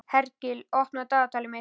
Hergill, opnaðu dagatalið mitt.